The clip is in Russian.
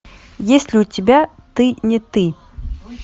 есть ли у тебя ты не ты